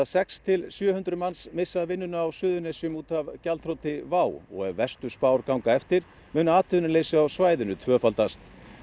sex til sjö hundruð manns missa vinnuna á Suðurnesjum út af gjaldþroti WOW og ef að verstu spár ganga eftir mun atvinnuleysi á svæðinu tvöfaldast